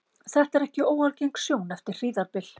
þetta er ekki óalgeng sjón eftir hríðarbyl